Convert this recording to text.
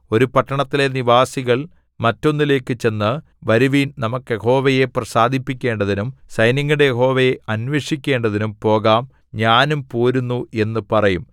ഒരു പട്ടണത്തിലെ നിവാസികൾ മറ്റൊന്നിലേക്ക് ചെന്ന് വരുവിൻ നമുക്കു യഹോവയെ പ്രസാദിപ്പിക്കേണ്ടതിനും സൈന്യങ്ങളുടെ യഹോവയെ അന്വേഷിക്കേണ്ടതിനും പോകാം ഞാനും പോരുന്നു എന്നു പറയും